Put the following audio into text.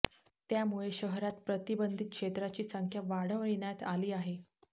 त्यामुळे शहरात प्रतिबंधित क्षेत्राची संख्या वाढविण्यात आली आहे